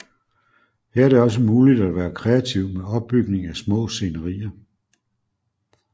Her er det også muligt at være kreativ med opbygning af små scenerier